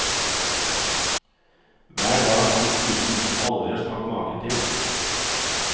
Hver dag kan du spise noe du aldri har smakt maken til.